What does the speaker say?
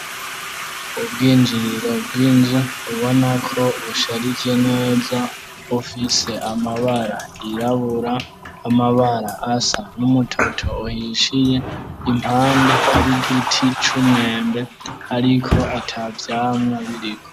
Ubwinjiriro bw'inzu ubona ko busharike neza bufise amabara yirabura, amabara asa n'umutoto uhishiye, impande hari igiti c'umwembe ariko ata vyamwa biriko.